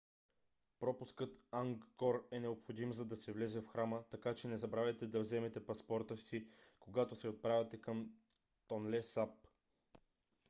пропускът ангкор е необходим за да се влезе в храма така че не забравяйте да вземете паспорта си когато се отправяте към тонле сап